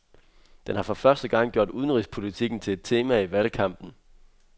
Den har for første gang gjort udenrigspolitikken til et tema i valgkampen.